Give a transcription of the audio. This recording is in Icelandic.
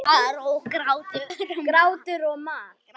Grátur og mar.